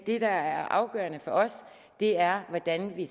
det der er afgørende for os er hvordan vi